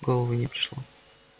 в голову не пришло